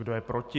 Kdo je proti?